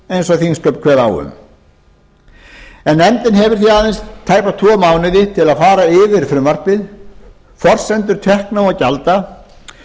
eins og þingsköp kveða á um nefndin hefur því aðeins tæpa tvo mánuði til að fara yfir frumvarpið forsendur tekna og gjalda